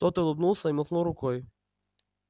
тот улыбнулся и махнул рукой